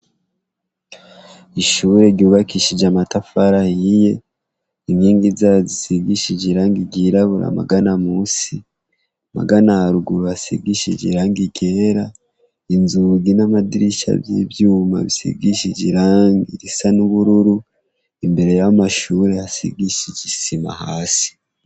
Ishure ryubakishije amatafara yiye inkingi za zisigishije ilanga rirabura magana musi magana aruguru hasigishije iranga igera inzugi n'amadirisha vy'ivyuma visigishije iranga irisa n'ubururu imbere ya wo amashure hasigishe igitsima hasi.